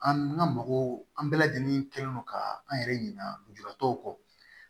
An ka mɔgɔw an bɛɛ lajɛlen kɛlen don ka an yɛrɛ ɲinanjuratɔw kɔ